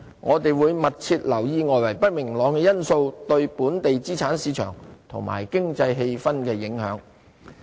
我們會密切留意外圍不明朗因素對本地資產市場及經濟氣氛的影響。